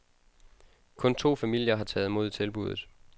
Kun to familier har taget mod tilbudet.